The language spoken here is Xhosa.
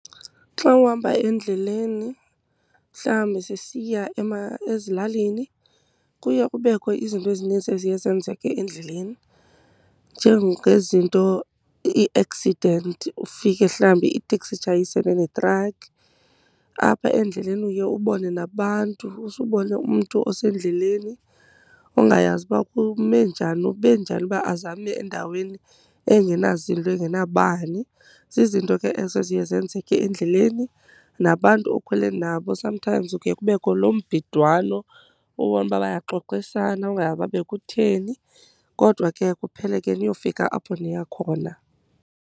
Xa uhamba endleleni, mhlawumbi sisiya ezilalini, kuye kubekho izinto ezininzi eziye zenzeke endleleni, njengezinto ii-accident ufike mhlawumbi iteksi itshayisene netrakhi. Apha endleleni uye ubone nabantu, usubone umntu osendleleni ongayazi uba kume njani, ube njani uba aze ame endaweni engenazinto engenabani. Zizinto ke ezo eziye zenzeke endleleni. Nabantu okhwele nabo sometimes kuke kubekho lombhidwano, ubone uba bayaxoxisana ungazi uba bekutheni. Kodwa ke kuphele ke niyofika apho niya khona.